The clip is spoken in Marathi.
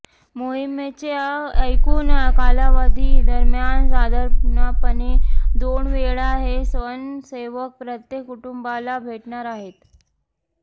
मोहिमेच्या एकूण कालावधी दरम्यान साधारणपणे दोनवेळा हे स्वयंसेवक प्रत्येक कुटुंबाला भेटणार आहेत